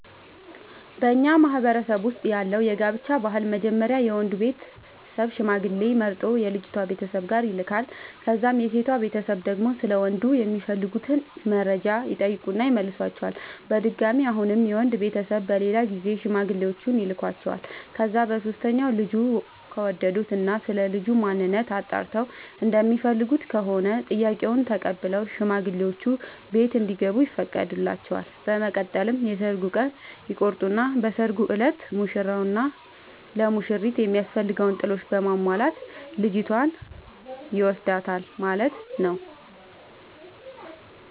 በኛ ማህበረሰብ ውስጥ ያለው የጋብቻ ባህል መጀመሪያ የወንዱ ቤተሰብ ሽማግሌዎች መርጦ የልጅቷ ቤተሰብ ጋር ይልካል። ከዛም የሴቷ ቤተሰብ ደግሞ ስለ ወንዱ የሚፈልጉትን መረጃ ይጠይቁና ይመልሷቸዋል። በድጋሚ አሁንም የወንድ ቤተሰብ በሌላ ጊዜ ሽማግሌዎቹን ይልኳቸዋል። ከዛ በሶስተኛው ልጁን ከወደዱት እና ስለልጁ ማንነት አጣርተው እንደሚፈልጉት ከሆነ ጥያቄውን ተቀብለው ሽማግሌዎቹ ቤት እንዲገቡ ይፈቅዱላቸዋል። በመቀጠል የሰርግ ቀን ይቆርጡና በሰርጉ እለት ሙሽራው ለሙሽሪት የሚያስፈልገውን ጥሎሽ በማሟላት ልጅቷን ይወስዳል ማለት ነው።